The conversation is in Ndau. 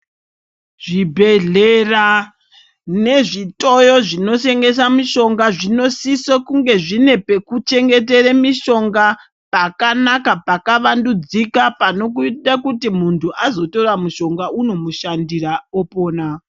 Zvibhehlera nezvitoyo zvinotengesa mushonga zvinosiso kunge zvine pekuchengetera mishonga pakanaka pakavandudzika panoita kuti muntu azotora mushonga unomushandira opona.